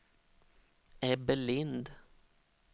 Ebbe Lindh